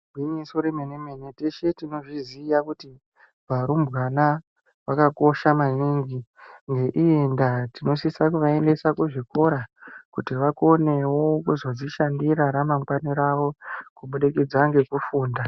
Gwinyiso remene-mene. Teshe tinozviziya kuti varumbwana vakakosha maningi. Ngeiyi ndaa, tinosisa kuvaendesa kuzvikora kuti vakonewo kuzodzishandira ramangwani ravo, kubudikidza ngekufunda.